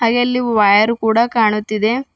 ಹಾಗೆ ಇಲ್ಲಿ ವಯರ್ ಕೂಡ ಕಾಣುತ್ತಿದೆ.